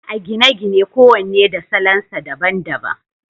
a gine-gine kowane da salon sa daban daban